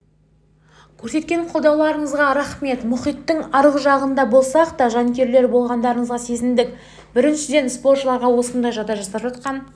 көрсеткен қолдауларыңызға рахмет мұхиттың аржағында болсақ та жанкүйерлер болғандарыңызды сезіндік біріншіден спортшыларға осындай жағдай жасап жатқан